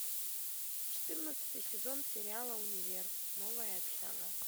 четырнадцатый сезон сериала универ новая общага